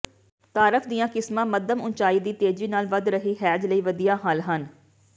dwarf ਦੀਆਂ ਕਿਸਮਾਂ ਮੱਧਮ ਉਚਾਈ ਦੀ ਤੇਜੀ ਨਾਲ ਵਧ ਰਹੀ ਹੈਜ ਲਈ ਵਧੀਆ ਹੱਲ ਹਨ